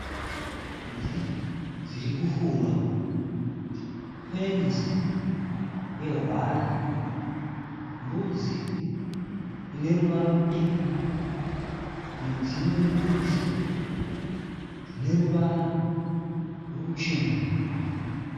Mbudzi dziri kufura pane fenzi ye waya. Mbudzi ineruvara rutema nedzimwe mbudzi dzineruvara ruchena.